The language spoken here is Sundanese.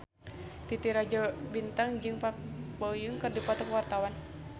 Titi Rajo Bintang jeung Park Bo Yung keur dipoto ku wartawan